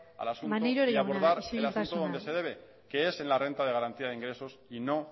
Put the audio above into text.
al asunto y abordar el asunto donde se debe maneiro jauna isiltasuna que es en la renta de garantía de ingresos y no